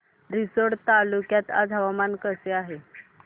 रिसोड तालुक्यात आज हवामान कसे आहे